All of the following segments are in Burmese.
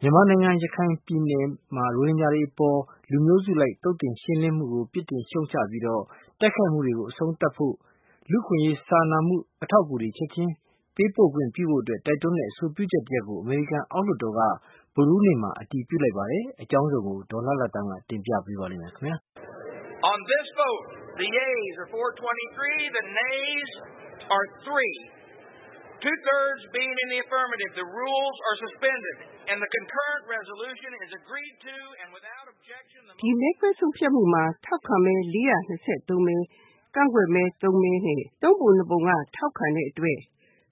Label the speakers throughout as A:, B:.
A: မြန်မာနိုင်ငံ ရခိုင်ပြည်နယ်မှာ ရိုဟင်ဂျာတွေအပေါ် လူမျိုးစုအလိုက် သုတ်သင်ရှင်းလင်းမှုကို ပြစ်တင်ရှုတ်ချပြီးတော့ တိုက်ခိုက်မှုတွေကို အဆုံးသတ်ဖို့၊ လူသားချင်းစာနာမှု အထောက် အကူတွေကို ချက်ခြင်းပေးပို့ခွင့်ပြုဖို့ တိုက်တွန်းတဲ့အဆိုပြုချက်တရပ်ကို အမေရိကန် အောက်လွှတ်တော်က ဗုဒ္ဓဟူးနေ့မှာ အတည်ပြုလိုက်ပါတယ်။ အကြောင်း စုံကို ဒေါ်လှလှသန်းက တင်ပြထားပါတယ်။ ဒီမဲခွဲဆုံးဖြတ်မှုမှာ ထောက်ခံမဲ ၄၂၃ မဲ၊ ကန့်ကွက်မဲ သုံးမဲနဲ့ သုံးပုံနှစ်ပုံက ထောက်ခံတဲ့ အတွက်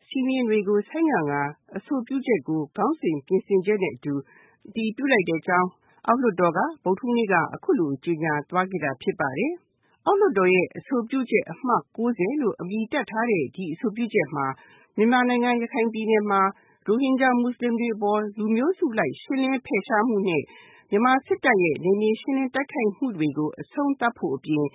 A: စည်းမျဉ်းတွေကို ဆိုင်းငံ့ကာ အဆိုပြုချက်ကို ခေါင်းစဉ် ပြင်ဆင်ချက်နဲ့အတူ အတည်ပြုလိုက်တဲ့အကြောင်း အောက်လွှတ်တော်က ဗုဒ္ဓဟူးနေ့က အခုလို ကြေညာ သွားခဲ့တာ ဖြစ်ပါတယ်။ အောက်လွှတ်တော်ရဲ့ အဆိုပြုချက်အမှတ် လို့ အမည်တပ် ထားတဲ့ ဒီအဆိုပြုချက်မှာ မြန်မာနိုင်ငံ၊ ရခိုင်ပြည်နယ်မှာ ရိုဟင်ဂျာမွတ်ဆလင်တွေအပေါ် လူမျိုးစုအလိုက် ရှင်းလင်းဖယ်ရှားမှုနဲ့ မြန်မာစစ်တပ်ရဲ့ နယ်မြေရှင်းလင်း တိုက်ခိုက်မှုတွေ ကို အဆုံးသတ်ဖို့အပြင်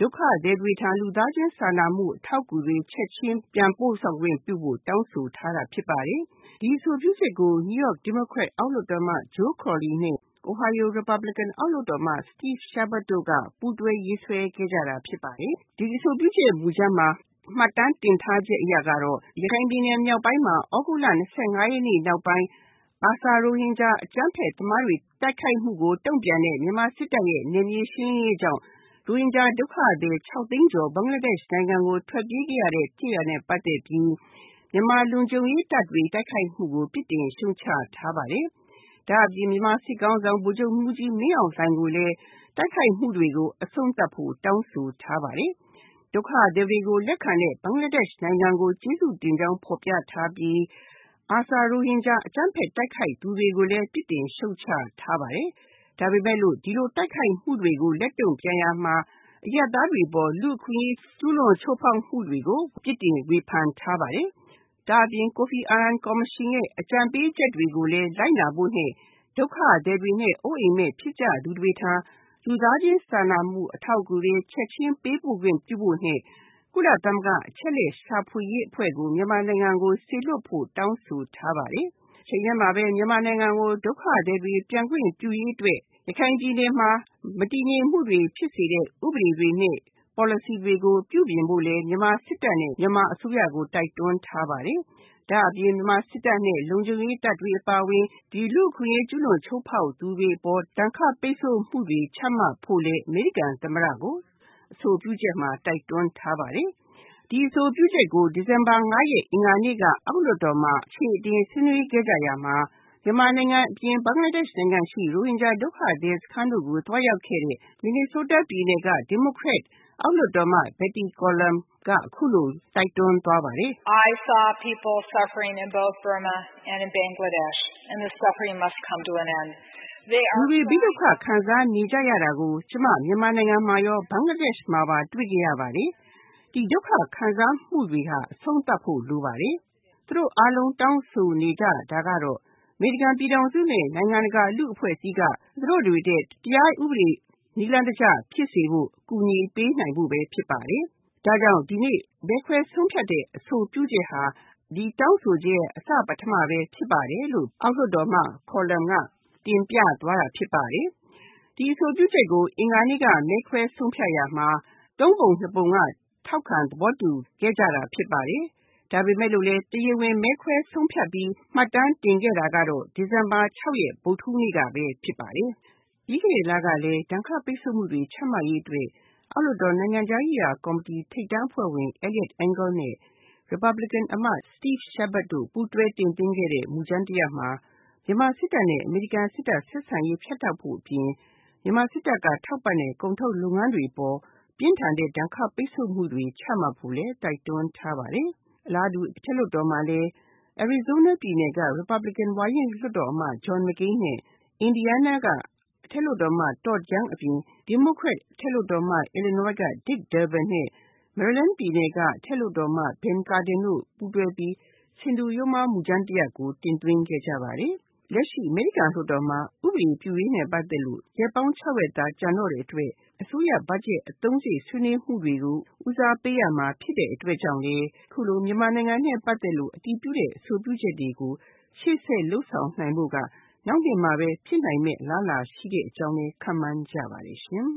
A: ဒုက္ခသည်တွေထံ လူသားချင်းစာနာမှု အထောက် အကူတွေ ချက်ခြင်း ပြန်ပို့ဆောင်ခွင့်ပြုဖို့ တောင်းဆိုထားတာ ဖြစ်ပါတယ်။ ဒီအဆိုပြုချက်ကို နယူးယောက် ဒီမိုကရက် အောက်လွှတ်တော်အမတ် Joe Crowley နဲ့ အိုဟိုင်းယို ရီပတ် ဘလီကင် အောက်လွှတ်တော်အမတ် Steve Chabot တို့က ပူးတွဲရေးဆွဲခဲ့ကြတာ ဖြစ်ပါ တယ်။ ဒီအဆိုပြုချက်မူကြမ်းမှာ မှတ်တမ်းတင်ထားချက်အရကတော့ ရခိုင် ပြည်နယ် မြောက်ပိုင်းမှာ သြဂုတ်လ ၂၅ ရက်နေ့နောက်ပိုင်း ARSA ရိုဟင်ဂျာ အကြမ်းဖက်သမားတွေ တိုက်ခိုက်မှုကို တုံ့ပြန်တဲ့ မြန်မာစစ်တပ်ရဲ့ နယ်မြေရှင်း လင်းရေးကြောင့် ရိုဟင်ဂျာ ဒုက္ခသည် ၆ သိန်းကျော် ဘင်္ဂလားဒက်ရှ်နိုင်ငံကို ထွက်ပြေးခဲ့ရတဲ့ ဖြစ်ရပ်နဲ့ပတ်သက်ပြီး မြန်မာလုံခြုံရေးတပ်တွေ တိုက်ခိုက်မှုကို ပြစ်တင်ရှုတ်ချထားပါတယ်။ ဒါ့အပြင် မြန်မာ စစ်ခေါင်းဆောင် ဗိုလ်ချုပ်မှူးကြီး မင်းအောင်လှိုင်ကိုလည်း တိုက်ခိုက်မှုတွေကို အဆုံးသတ်ဖို့ တောင်းဆိုထားပါတယ်။ ဒုက္ခသည်တွေကိုလက်ခံတဲ့ ဘင်္ဂလားဒက်ရှ်နိုင်ငံကို ကျေးဇူးတင်ကြောင်းဖော်ပြထားပြီး ARSA ရိုဟင်ဂျာအကြမ်းဖက် တိုက်ခိုက်သူတွေကိုလည်း ပြစ်တင် ရှုတ်ချထားပါတယ်။ ဒါပေမယ့်လို့ ဒီလိုတိုက်ခိုက်မှုတွေကို လက်တုံ့ပြန်ရာမှာ အရပ်သားတွေအပေါ် လူ့အခွင့် အရေး ချိုးဖောက် ကျူးလွန်မှုတွေကို ပြစ်တင်ဝေဖန်ထားပါတယ်။ ဒါ့အပြင် ကိုဖီအာနန် ကော်မရှင်ရဲ့ အကြံပေးချက်တွေကိုလည်း လိုက်နာဖို့နဲ့ ဒုက္ခသည်တွေနဲ့ အိုးအိမ်မဲ့ ဖြစ်ကြသူတွေထံ လူသားချင်းစာနာမှု အထောက်အကူတွေ ချက်ခြင်း ပေးပို့ခွင့်ပြုဖို့နဲ့ ကုလသမဂ္ဂအချက်အလက်ရှာဖွေရေးအဖွဲ့ကို မြန်မာနိုင်ငံကို စေလွှတ်ဖို့ တောင်းဆိုထား ပါတယ်။ တချိန်တည်းမှာပဲ မြန်မာနိုင်ငံကို ဒုက္ခသည်တွေ ပြန်ခွင့်ပြုရေးအတွက် ရခိုင်ပြည်နယ်မှာ မတည်ငြိမ်မှုတွေဖြစ်စေတဲ့ ဥပဒေတွေနဲ့ ပေါ်လစီတွေကို ပြုပြင်ဖို့လည်း မြန်မာစစ်တပ်နဲ့ မြန်မာအစိုးရတို့ိကို တိုက်တွန်းထားပါတယ်။ ဒါ့အပြင် မြန်မာစစ်တပ်နဲ့ လုံခြုံရေးတပ်တွေ အပါအဝင် ဒီ လူ့အခွင့်အရေး ချိုးဖောက်ကျူးလွန်သူတွေအပေါ် ဒဏ်ခတ်ပိတ်ဆို့မှုတွေ ချမှတ်ဖို့လည်း အမေရိကန်သမ္မတကို အဆိုပြုချက်မှာ တိုက်တွန်းထားပါတယ်။ ဒီ အဆိုပြု ချက်ကို ဒီဇင်ဘာ ၅ ရက်၊ အင်္ဂါနေ့က အောက်လွှတ်တော်မှာ အခြေအတင် ဆွေးနွေးခဲ့ ကြရာမှာ မြန်မာနိုင်ငံအပြင် ဘင်္ဂလားဒက်ရှ်နိုင်ငံရှိ ရိုဟင်ဂျာဒုက္ခသည် စခန်းတို့ကို သွားရောက်ခဲ့တဲ့ မင်နီဆိုးတားပြည်နယ် ဒီမိုကရက် အောက်လွှတ်တော်အမတ် Betty McCollum က အခုလို တိုက်တွန်းသွားပါတယ်။ “လူတွေ ဘေးဒုက္ခ ခံစားနေကြရတာကို ကျမ မြန်မာနိုင်ငံမှာရော ဘင်္ဂလားဒက်ရှ်မှာပါ တွေ့ခဲ့ရပါတယ်။ ဒီဒုက္ခ ခံစားမှုတွေဟာ အဆုံးသတ်ဖို့ လိုပါတယ်။ သူတို့အားလုံး တောင်းဆိုနေကြတာကတော့ အမေရိကန်ပြည်ထောင်စုနဲ့ နိုင်ငံတကာလူ့အဖွဲ့အစည်းက သူတို့တွေအတွက် တရားဥပဒေ နည်းလမ်းတကျ ဖြစ်စေဖို့ ကူညီပေးနိုင်ဖို့ပဲ ဖြစ်ပါတယ်။ ဒါကြောင့် ဒီနေ့ မဲခွဲဆုံးဖြတ်တဲ့အဆိုပြုချက်ဟာ ဒီတောင်းဆိုချက်ရဲ့ အစပထမပဲ ဖြစ်ပါတယ်” - လို့ အောက်လွှတ် တော်အမတ် McCollum က တင်ပြသွားတာဖြစ်ပါတယ်။ ဒီအဆိုပြုချက်ကို အင်္ဂါနေ့က မဲခွဲဆုံးဖြတ်ရာမှာ သုံးပုံနှစ်ပုံက ထောက်ခံ သဘောတူ ခဲ့ကြတာ ဖြစ်ပါတယ်။ ဒါပေမယ့်လို့လည်း တရားဝင်မဲခွဲဆုံးဖြတ်ပြီး မှတ်တမ်းတင်ခဲ့ တာကတော့ ဒီဇင်ဘာ ၆ ရက်၊ ဗုဒ္ဓဟူးနေ့ကပဲ ဖြစ်ပါတယ်။ ပြီးခဲ့တဲ့လကလည်း ဒဏ်ခတ် ပိတ်ဆို့မှုတွေ ချမှတ်ရေးအတွက် အောက် လွှတ် တော် နိုင်ငံခြားရေးရာကော်မတီ ထိပ် တန်း အဖွဲ့ဝင် Eliot Engel နဲ့ ရီပတ်ဘလီကင်အမတ် Steve Chabot တို့ ပူးတွဲ တင်သွင်း ခဲ့တဲ့ မူကြမ်း တရပ်မှာ မြန်မာစစ်တပ်နဲ့ အမေရိကန်စစ်တပ် ဆက်ဆံရေး ဖြတ်တောက်ဖို့ အပြင် မြန်မာစစ်တပ်က ထောက်ပံ့တဲ့ ကုန်ထုတ်လုပ်ငန်းတွေအပေါ် ပြင်းထန်တဲ့ ဒဏ် ခတ် ပိတ်ဆို့မှုတွေ ချမှတ်ဖို့လည်း တိုက်တွန်းထားပါတယ်။ အလားတူ အထက် လွှတ်တော်မှာလည်း အရီဇိုးနားပြည်နယ်က ရီပတ်ဘလီကင် ဝါရင့် လွှတ်တော်အမတ် John MacCain နဲ့ အင်ဒီယားနားက အထက်လွှတ်တော်အမတ် Todd Young အပြင် ဒီမိုကရက် အထက်လွှတ်တော်အမတ် အီလီနွိုင်း က Dick Durbin နဲ့ မေရီလန်း ပြည်နယ်က အထက်လွှတ်တော်အမတ် Ben Cardin တို့ ပူးတွဲပြီး ဆင်တူယိုးမား မူကြမ်း တရပ် ကို တင်သွင်းခဲ့ကြပါတယ်။ လက်ရှိ အမေရိကန်လွှတ်တော်မှာ ဥပဒေ ပြုရေးနဲ့ ပတ်သက်လို့ ရက်ပေါင်း ၆ ရက်သာ ကျန်တော့တဲ့အတွက် အစိုးရဘတ်ဂျက် အသုံးစရိတ် ဆွေးနွေးမှုတွေ ကို ဦးစားပေးရမှာဖြစ်တဲ့အတွက်ကြောင့်လည်း အခုလို မြန်မာနိုင်ငံနဲ့ ပတ်သက်လို့ အတည်ပြုတဲ့ အဆိုပြုချက်တွေကို ရှေ့ဆက်လုပ်ဆောင်နိုင်ဖို့က နောက် နှစ်မှာပဲ ဖြစ်နိုင်မယ့်အလားအလာရှိတဲ့အကြောင်းလည်း ခန့်မှန်းကြပါတယ်ရှင်